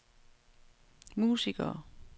musikere